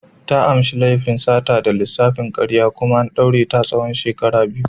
Ta amsa laifin sata da lissafin karya kuma an daure ta tsawon shekaru biyu.